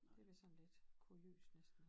Det vist sådan lidt kuriøst næsten